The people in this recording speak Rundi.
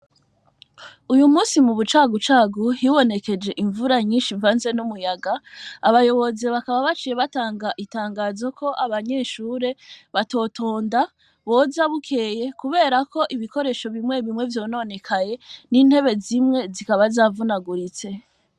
Uyu musi mu bucagucagu hibonekeje imvura nyinshi mvanze n'umuyaga, abayobozi bakaba bacire batanga itangazo ko abanyeshure batotonda bozabukeye kubera ko ibikoresho bimwe bimwe vyononekaye n'intebe zimwe zikaba zavunaguritse.